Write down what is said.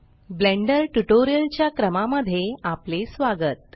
blender tutorial च्या क्रमा मध्ये आपले स्वागत